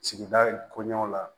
Sigida kɔɲɔw la